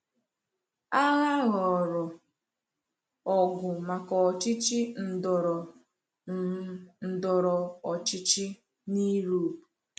Agha ghọrọ ọgụ maka ọchịchị ndọrọ um ndọrọ ọchịchị n’Europe.